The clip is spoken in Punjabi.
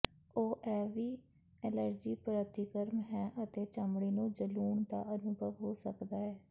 ਉਹ ਇਹ ਵੀ ਐਲਰਜੀ ਪ੍ਰਤੀਕਰਮ ਹੈ ਅਤੇ ਚਮੜੀ ਨੂੰ ਜਲੂਣ ਦਾ ਅਨੁਭਵ ਹੋ ਸਕਦਾ ਹੈ